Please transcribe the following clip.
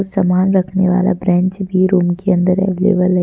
समान रखने वाला ब्रेंच भी रूम के अंदर अवेलेबल है।